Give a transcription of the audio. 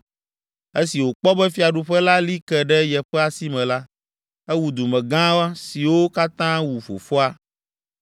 Esi wòkpɔ be fiaɖuƒe la li ke ɖe yeƒe asi me la, ewu dumegã siwo katã wu fofoa.